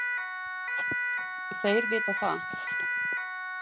Þeir vita það.